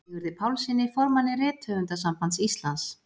Sigurði Pálssyni, formanni Rithöfundasambands Íslands.